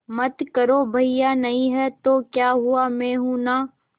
मत करो भैया नहीं हैं तो क्या हुआ मैं हूं ना